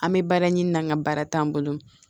An bɛ baara ɲini na n ka baara t'an bolo